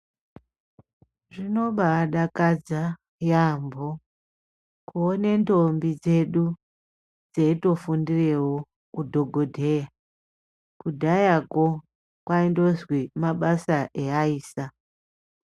Zvinobadakadza yaambo kuone ndombi dzedu dzeitofundirewo udhogodheya. Kudhayako kwaindozwi mabasa eyaisa.